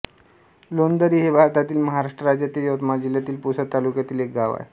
लोणदरी हे भारतातील महाराष्ट्र राज्यातील यवतमाळ जिल्ह्यातील पुसद तालुक्यातील एक गाव आहे